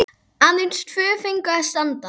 Aðeins tvö fengu að standa.